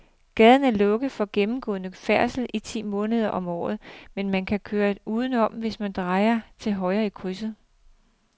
Gaden er lukket for gennemgående færdsel ti måneder om året, men man kan køre udenom, hvis man drejer til højre i krydset.